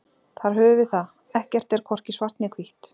Þar höfum við það: ekkert er hvorki svart né hvítt.